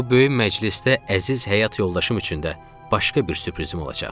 Bu böyük məclisdə əziz həyat yoldaşım üçün də başqa bir sürprizim olacaq.